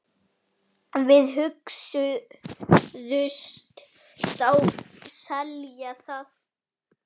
Og hugðust þá selja það.